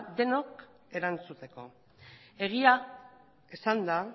denok erantzuteko egia esanda